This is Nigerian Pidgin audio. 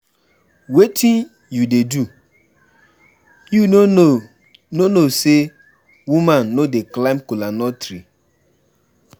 Wetin you dey do? You no know say woman no dey climb kola nut tree.